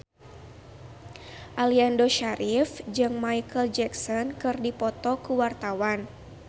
Aliando Syarif jeung Micheal Jackson keur dipoto ku wartawan